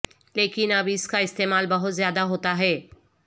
لیکن اب اس کا استعمال بہت زیادہ ہوتا ہے